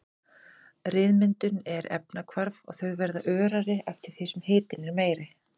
Ryðmyndun er efnahvarf og þau verða örari eftir því sem hitinn er meiri.